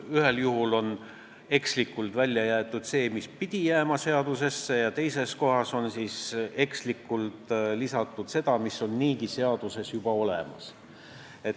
Ühel juhul on ekslikult välja jäetud midagi, mis pidi jääma seadusesse, teises kohas aga on ekslikult lisatud sätteid, mis sisuliselt on niigi seaduses juba olemas.